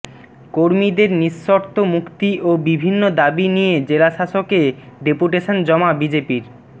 কর্মীদের নিঃশর্ত মুক্তি ও বিভিন্ন দাবি নিয়ে জেলাশাসকে ডেপুটেশন জমা বিজেপির